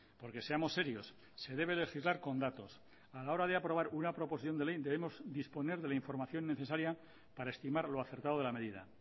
porque seamos serios se debe legislar con datos a la hora de aprobar una proposición de ley debemos disponer de la información necesaria para estimar lo acertado de la medida